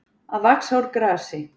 Að vaxa úr grasi